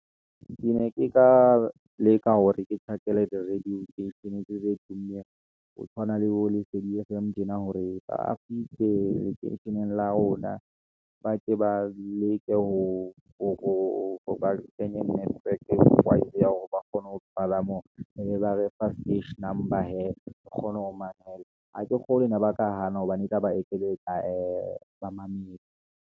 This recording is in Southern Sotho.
Ke ne ke ka leka hore ke tjhakele di-radio station-e tse tse tummeng ho tshwana le bo lesedi fm, tjena hore ba a fihle lekeisheneng la rona, ba tle ba leke ho hore ba kenye ya hore ba kgone ho ebe ba re fa number hee, re kgone ho mamela. Ha ke kgolwe ena ba ka hana hobane e tla ba ekeletsa ba mamedi.